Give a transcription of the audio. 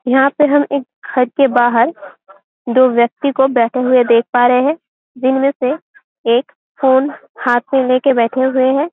यहाँ पे हम एक घर के बाहर दो व्यक्ति को बैठे हुए देख पा रहे हैं जिनमें से एक फ़ोन हाथ में लेके बैठे हुए है।